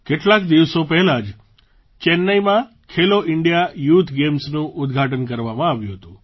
કેટલાક દિવસો પહેલાં જ ચેન્નાઈમાં ખેલો ઇન્ડિયા યૂથ ગેમ્સનું ઉદ્ઘાટન કરવામાં આવ્યું હતું